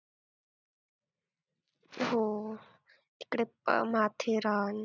हो, तिकडे माथेरान